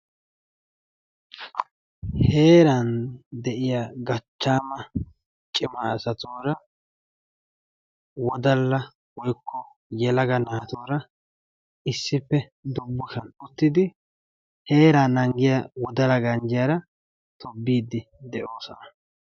Heeran de'iyaa gachchaama cima asatuura wodalla woykko yelaga naatura issippe dummasan uttidi heeraa nanggiyaa wodala ganjjiyaara tobbiidi de'oosona.